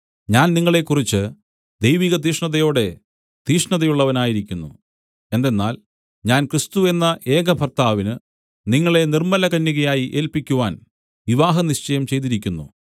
ഞാൻ നിങ്ങളെക്കുറിച്ച് ദൈവികതീക്ഷ്ണതയോടെ തീക്ഷ്ണതയുള്ളവനായിരിക്കുന്നു എന്തെന്നാൽ ഞാൻ ക്രിസ്തു എന്ന ഏകഭർത്താവിന് നിങ്ങളെ നിർമ്മലകന്യകയായി ഏല്പിക്കുവാൻ വിവാഹനിശ്ചയം ചെയ്തിരിക്കുന്നു